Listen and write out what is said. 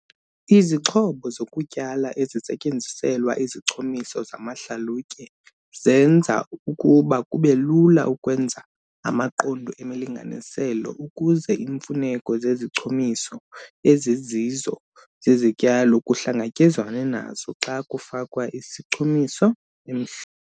Izixhobo zokutyala ezisetyenziselwa izichumiso zamahlalutye zenza ukuba kube lula ukwenza amaqondo emilinganiselo ukuze iimfuneko zezichumiso ezizizo zezityalo kuhlangatyezwane nazo xa kufakwa izichumiso emhl.